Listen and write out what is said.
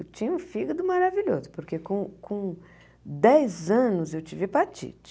Eu tinha um fígado maravilhoso, porque com com dez anos eu tive hepatite.